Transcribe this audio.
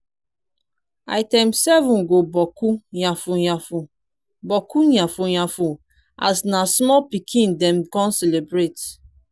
item 7 go bokku yafun yafun bokku yafun yafun as na small pikin dem con celebrate